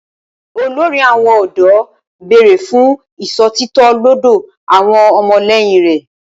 Olórí àwọn ọ̀dọ́ béèrè fún ìṣòtítọ́ lọ́dọ̀ àwọn ọmọlẹ́yìn rẹ̀